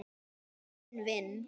Að kveðja sinn vin